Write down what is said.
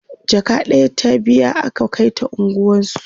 jaka ɗaya ta biya aka Kai ta unguwansu